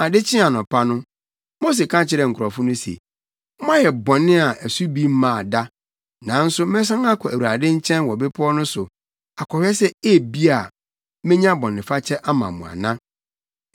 Ade kyee anɔpa no, Mose ka kyerɛɛ nkurɔfo no se, “Moayɛ bɔne a ɛso bi mmaa da, nanso mɛsan akɔ Awurade nkyɛn wɔ bepɔw no so akɔhwɛ sɛ ebia, menya bɔnefakyɛ ama mo ana.”